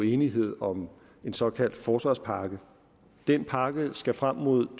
enighed om en såkaldt forsvarspakke den pakke skal frem mod to